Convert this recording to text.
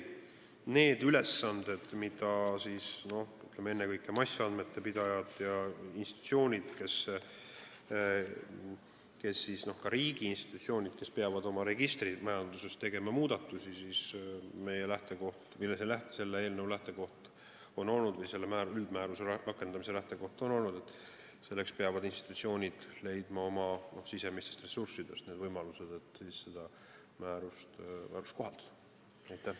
Selle eelnõu või selle üldmääruse rakendamise lähtekoht on olnud, et kui ennekõike massandmete haldajad ja institutsioonid, ka riigiinstitutsioonid, peavad oma registrimajanduses tegema muudatusi, siis peavad nad leidma oma sisemistest ressurssidest need võimalused, et seda määrust kohaldada.